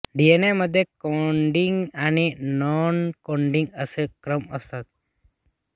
DNA मध्ये coding आणि noncoding असे क्रम असतात